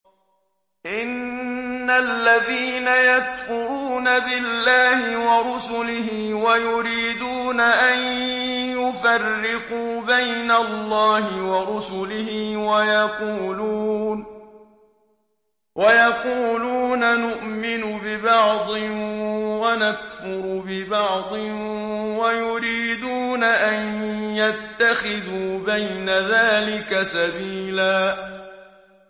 إِنَّ الَّذِينَ يَكْفُرُونَ بِاللَّهِ وَرُسُلِهِ وَيُرِيدُونَ أَن يُفَرِّقُوا بَيْنَ اللَّهِ وَرُسُلِهِ وَيَقُولُونَ نُؤْمِنُ بِبَعْضٍ وَنَكْفُرُ بِبَعْضٍ وَيُرِيدُونَ أَن يَتَّخِذُوا بَيْنَ ذَٰلِكَ سَبِيلًا